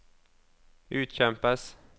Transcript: utkjempes